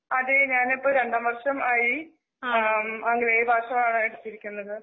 അതേ ഞാനിപ്പോ രണ്ടാം വർഷമായി ആം ആംഗലേയ ഭാഷയാ എടുത്തിരിക്കുന്നത്.